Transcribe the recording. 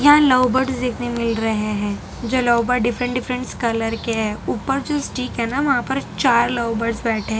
हा love birds देखने मिल रहे हैं जो लव डिफरेंट डिफरेंट कलर के ऊपर जो स्टिक है ना वहां पर चार लव बर्ड्स बैठे --